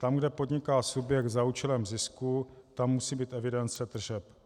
Tam, kde podniká subjekt za účelem zisku, tam musí být evidence tržeb.